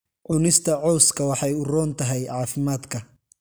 Cunista cawska waxay u roon tahay caafimaadka.